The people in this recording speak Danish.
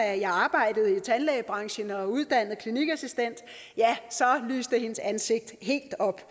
at jeg arbejdede i tandlægebranchen og var uddannet klinikassistent ja så lyste hendes ansigt helt op